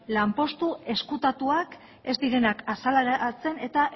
lanpostu ezkutatuak ez direnak azaleratzen eta